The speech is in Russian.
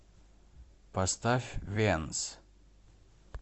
поставь венц